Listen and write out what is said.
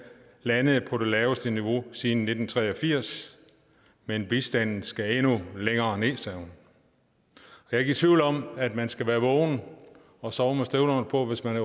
landede på det laveste niveau siden nitten tre og firs men at bistanden skal endnu længere nederst jeg er ikke i tvivl om at man skal være vågen og sove med støvlerne på hvis man